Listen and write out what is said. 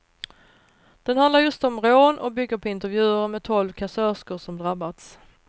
Den handlar just om rån och bygger på intervjuer med tolv kassörskor som drabbats.